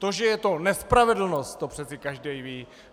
To, že je to nespravedlnost, to přeci každý ví.